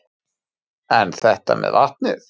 En þetta með vatnið?